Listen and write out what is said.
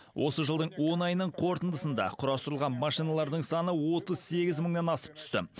осы жылдың он айының қорытындысында құрастырылған машиналардың саны отыз сегіз мыңнан асып түсті